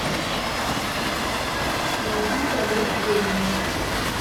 найди полет ведьмы